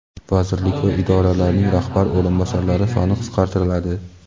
Vazirlik va idoralarning rahbar o‘rinbosarlari soni qisqartiriladi.